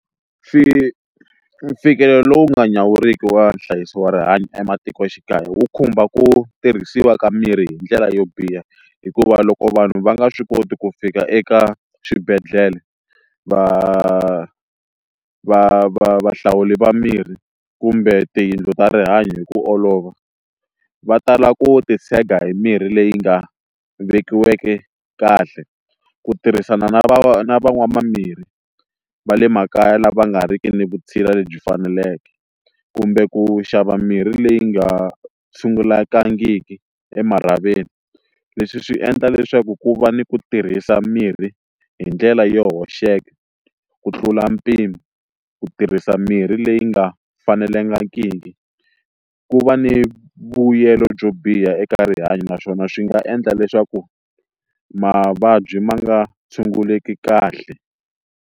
lowu nga nyawuriki wa nhlayiso wa rihanyo ematikoxikaya wu khumba ku tirhisiwa ka mirhi hi ndlela yo biha hikuva loko vanhu va nga swi koti ku fika eka swibedhlele va va va vahlawuri va mirhi kumbe tiyindlu ta rihanyo hi ku olova va tala ku titshega hi mirhi leyi nga vekiweke kahle ku tirhisana na va van'wa mimirhi va le makaya lama nga ri ki ni vutshila lebyi faneleke kumbe ku xava mirhi leyi nga sungulangiki emarhavini leswi swi endla leswaku ku va ni ku tirhisa mirhi hi ndlela yo hoxeka ku tlula mpimo ku tirhisa mirhi leyi nga fanelangiki ku va ni vuyelo byo biha eka rihanyo naswona swi nga endla leswaku mavabyi ma nga tshunguleki kahle.